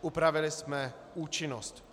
Upravili jsme účinnost.